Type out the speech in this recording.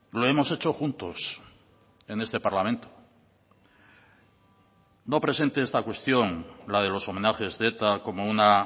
lo hemos hecho juntos en este parlamento no presente esta cuestión la de los homenajes de eta como una